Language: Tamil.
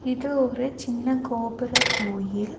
இது ஒரு சின்ன கோபுர கோயில்.